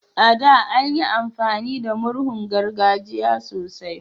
A da, anyi amfani da murhun gargajiya sosai